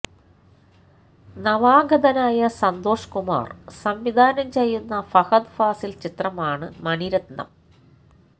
നവാഗതനായ സന്തോഷ് കുമാര് സംവിധാനം ചെയ്യുന്ന ഫഹദ് ഫാസില് ചിത്രമാണ് മണിരത്നം